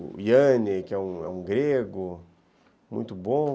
o Yanni, que é um grego, muito bom.